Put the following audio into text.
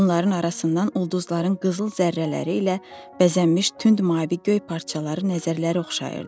Bunların arasından ulduzların qızıl zərrələri ilə bəzənmiş tünd mavi göy parçaları nəzərləri oxşayırdı.